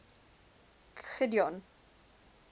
gideon